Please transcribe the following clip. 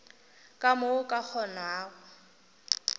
ka mo o ka kgonago